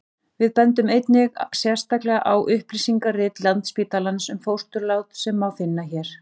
við bendum einnig sérstaklega á upplýsingarit landsspítalans um fósturlát sem má finna hér